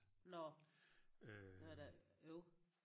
Nå det var da øv